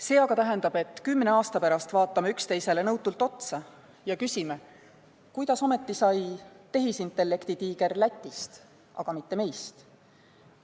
See aga tähendab, et kümne aasta pärast vaatame üksteisele nõutult otsa ja küsime, kuidas ometi sai tehisintellekti tiiger Lätist, mitte meist.